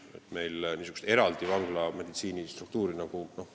Pole vaja niisugust eraldi vanglameditsiinilist struktuuri.